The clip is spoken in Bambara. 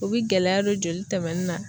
U bi gɛlɛya don joli tɛmɛni na